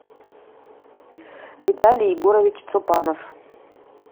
виталий егорович цупанов